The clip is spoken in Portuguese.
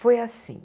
Foi assim.